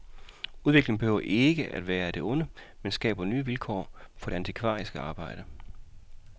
Udviklingen behøver ikke at være af det onde, men skaber nye vilkår for det antikvariske arbejde.